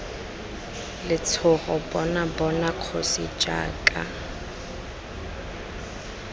letshogo bona bona kgosi jaaka